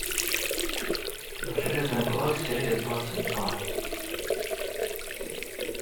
железный кулак серия двадцать два